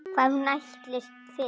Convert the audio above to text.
Hvað hún ætlist fyrir.